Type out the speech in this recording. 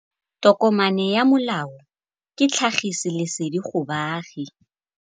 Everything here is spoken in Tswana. Tokomane ya molao ke tlhagisi lesedi go baagi.